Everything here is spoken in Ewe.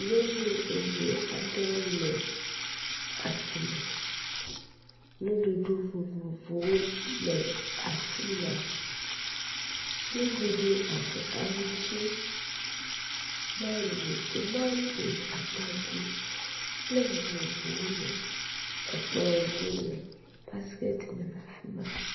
nyɔnu ɛvɛ aɖewo nɔ asimɛ ŋuɖuɖu vovovowo le afima ŋuɖuɖu abe aŋutsi mago tomantos atadi kple nu vovovowo le ekplɔ̃ dzi le basket me